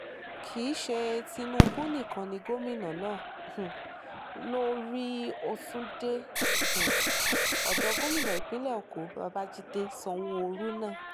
láàrin ẹgbẹ́ apc àti pdp ni kinní ọ̀hún yóò ti le jù lọ